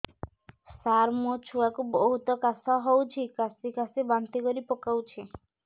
ସାର ମୋ ଛୁଆ କୁ ବହୁତ କାଶ ହଉଛି କାସି କାସି ବାନ୍ତି କରି ପକାଉଛି